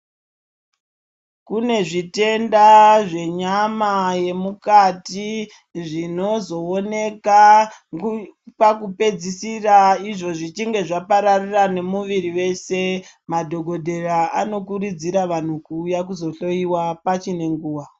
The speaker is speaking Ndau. Kune zvitenda zvenyama yemukati zvinozooneka pekupedzisira izvo zvichinge zvapararira nemuviri wese. Madhokodheya anokurudzira vanhu kuti vauye kuzohloyiwa paine nguwa.